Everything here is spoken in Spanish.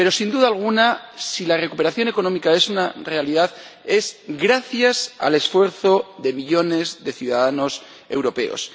Pero, sin duda alguna, si la recuperación económica es una realidad es gracias al esfuerzo de millones de ciudadanos europeos.